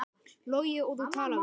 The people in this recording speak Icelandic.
Logi: Og þú talaðir við?